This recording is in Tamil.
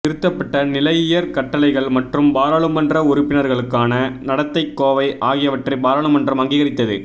திருத்தப்பட்ட நிலையியற் கட்டளைகள் மற்றும் பாராளுமன்ற உறுப்பினர்களுக்கான நடத்தைக் கோவை ஆகியவற்றை பாராளுமன்றம் அங்கீகரித்தது